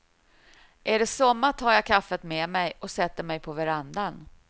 Är det sommar tar jag kaffet med mig och sätter mig på verandan.